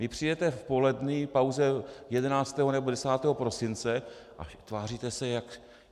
Vy přijdete v polední pauze 11. nebo 10. prosince a tváříte se, jak...